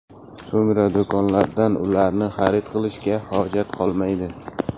So‘ngra do‘konlardan ularni xarid qilishga hojat qolmaydi.